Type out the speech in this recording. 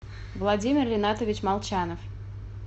владимир ринатович молчанов